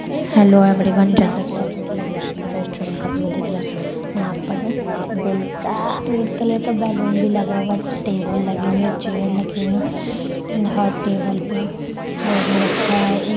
hello everyone जैसा कि आप देख रहे हैं कि आपको रेस्टोरेंट का व्यू दिख रहा है यहाँ पर दिल का रेड कलर बेलून भी लगा हुआ हैं टेबल लगी हुए हैं चेयर लगे हुई है एण्ड हर टेबल वो भी रखा है --